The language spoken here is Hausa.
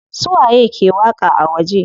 Su waye ke waƙa a waje?